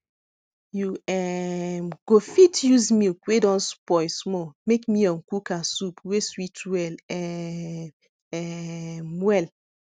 you um go fit use milk wey don spoil small make miyan kuka soup wey sweet well um um well